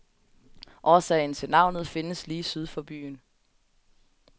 Årsagen til navnet findes lige syd for byen.